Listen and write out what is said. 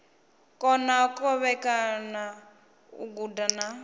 kona kovhekana u guda na